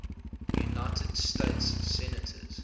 united states senators